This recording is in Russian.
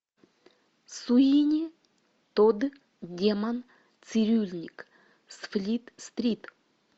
суини тодд демон цирюльник с флит стрит